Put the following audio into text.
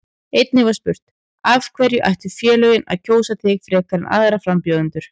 Einnig var spurt: Af hverju ættu félögin að kjósa þig frekar en aðra frambjóðendur?